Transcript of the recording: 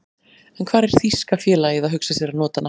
En hvar er þýska félagið að hugsa sér að nota hana?